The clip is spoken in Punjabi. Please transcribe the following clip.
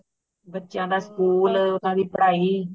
ਬੱਚਿਆਂ ਦਾ school ਓਹਨਾ ਦੀ ਪੜ੍ਹਾਈ